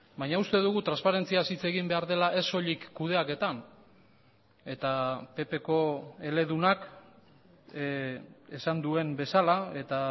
baina uste dugu transparentziaz hitz egin behar dela ez soilik kudeaketan eta ppko eledunak esan duen bezala eta